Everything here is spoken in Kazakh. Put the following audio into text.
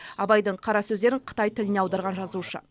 абайдың қара сөздерін қытай тіліне аударған жазушы